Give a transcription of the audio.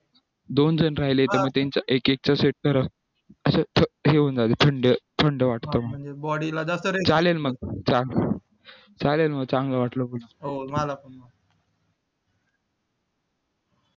दोन जण राहिले तर हे होऊन जाईल थंड थंड वाटत मग चालेल मग चालेल मग चांगलं वाटलं बोलून